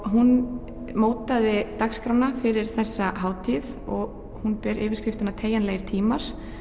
hún mótaði dagskrána fyrir þessa hátíð og hún ber yfirskriftina teygjanlegir tímar